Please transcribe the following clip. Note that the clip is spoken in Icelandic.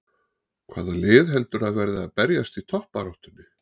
Hvaða lið heldurðu að verði að berjast í toppbaráttunni?